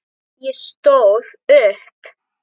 Ég stóð upp.